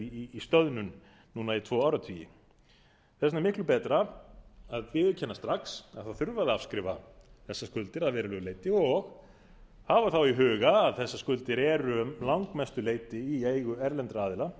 í stöðnun núna í tvo áratugi þess vegna er miklu betra að viðurkenna strax að afskrifa þurfi þessar skuldir að verulegu leyti og hafa þá í huga að þessar skuldir eru að langmestu leyti í eigu erlendra aðila